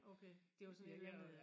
Okay det var sådan et eller andet øh